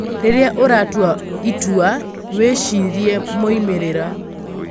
Rĩrĩa ũratua itua, wĩcirie moimĩrĩra.